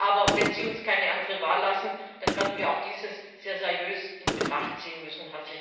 Aber wenn Sie uns keine andere Wahl lassen, dann werden wir auch dies sehr seriös in Betracht ziehen müssen.